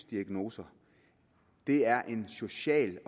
diagnose det er en social